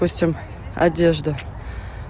пустим одежда